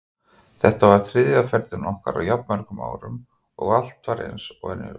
Þetta var þriðja ferðin okkar á jafn mörgum árum og allt var eins og venjulega.